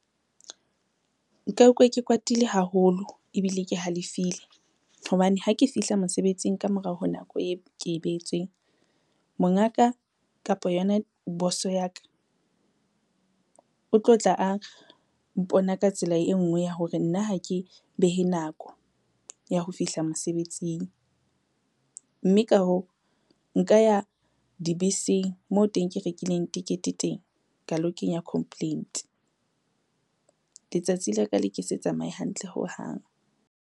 Nka ukwa ke kwatile haholo ebile ke halefile, hobane ha ke fihla mosebetsing ka morao ho nako e ke e behetsweng, mongaka kapa yona boso ya ka, o tlo tla a mpona ka tsela e ngwe ya hore nna ha ke behe nako ya ho fihla mosebetsing, mme ka hoo, nka ya dibeseng moo teng ke rekileng tikete teng, ka lo kenya complaint. Letsatsi la ka le ke se tsamaye hantle hohang.